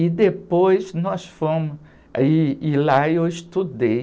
E depois nós fomos... Aí, e lá eu estudei.